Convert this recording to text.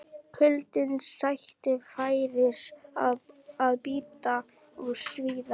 Kuldinn sætti færis að bíta og svíða.